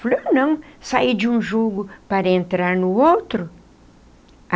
Falei, eu não, sair de um jugo para entrar no outro.